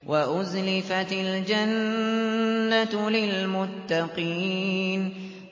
وَأُزْلِفَتِ الْجَنَّةُ لِلْمُتَّقِينَ